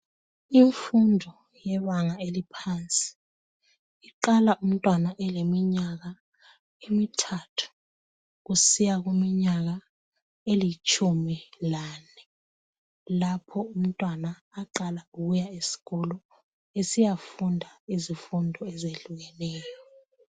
Imfundo yebanga eliphansi iqala umntwana eleminyaka emithathu kusiya kuminyaka elitshumi lane lapho umntwana aqala ukuya esikolo besiyafunda izifundo ezehlukeneyo.